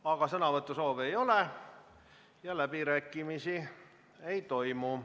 Aga sõnavõtusoove ei ole ja läbirääkimisi ei toimu.